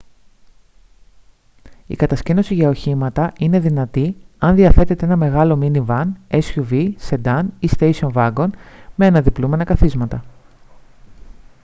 η κατασκήνωση για οχήματα είναι δυνατή εάν διαθέτετε ένα μεγάλο μίνι βαν suv σεντάν ή στέισον βάγκον με αναδιπλούμενα καθίσματα